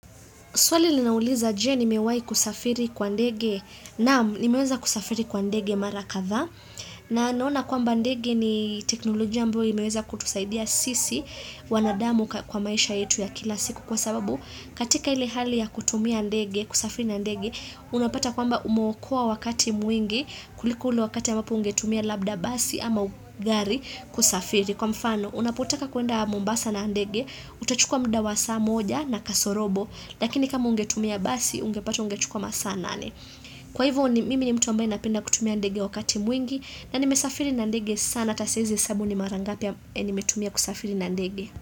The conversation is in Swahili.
Swali linauliza je nimewai kusafiri kwa ndege naam nimeweza kusafiri kwa ndege mara kadhaa na naona kwamba ndege ni teknolojia ambayo imeweza kutusaidia sisi wanadamu kwa maisha yetu ya kila siku kwa sababu katika ile hali ya kutumia ndege kusafiri na ndege unapata kwamba umeokoa wakati mwingi kuliko ule wakati amabapo ungetumia labda basi ama gari kusafiri. Kwa mfano, unapotaka kuenda mombasa na ndege, utachukua muda wa saa moja na kasorobo, lakini kama ungetumia basi, ungepata ungechukua masaa nane. Kwa hivyo, mimi ni mtu ambaye napenda kutumia ndege wakati mwingi, na nimesafiri na ndege sana hata siwezi hesabu ni mara ngapi nimetumia kusafiri na ndege.